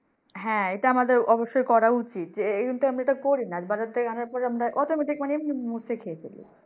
হ্যাঁ এটা আমদের অবশ্যই করা উচিৎ যে এমতা আমরা করি না বাজার থেকে আনার পরে automatic মুছে খেয়ে ফেলি